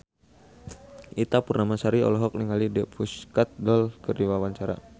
Ita Purnamasari olohok ningali The Pussycat Dolls keur diwawancara